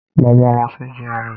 Mo máa lọ sí GRA